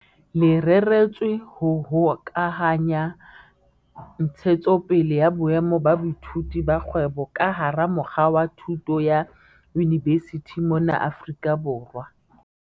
Le reretswe ho hokahanya ntshetsopele ya boemo ba boithuti ba kgwebo ka hara mokga wa thuto ya yunivesithi mona Afrika Borwa.